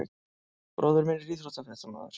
Bróðir minn er íþróttafréttamaður.